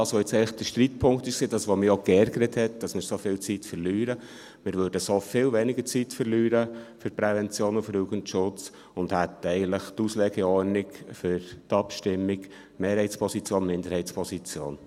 Das, was jetzt eigentlich der Streitpunkt war und mich auch geärgert hat, weil wir so viel Zeit verlieren … Wir würden so für die Prävention und den Jugendschutz viel weniger Zeit verlieren und hätten eigentlich die Auslegeordnung für die Abstimmung: Mehrheitsposition und Minderheitsposition.